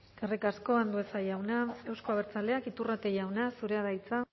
eskerrik asko andueza jauna euzko abertzaleak iturrate jauna zurea da hitza